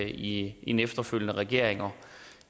i en efterfølgende regering og